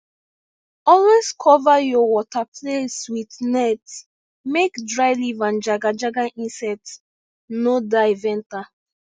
always cover your water place with net make dry leaf and jagajaga insect no dive enter